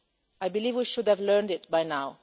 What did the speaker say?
I believe we should have learned that by now.